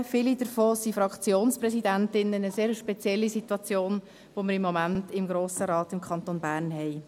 Viele von ihnen sind Fraktionspräsidentinnen – eine sehr spezielle Situation, die wir im Moment im Grossen Rat des Kantons Bern haben.